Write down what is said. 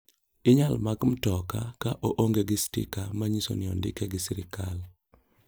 Inyal mak mtoka ka oonge gi stika manyiso ni ondike gi sirkal.